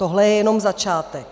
Tohle je jenom začátek.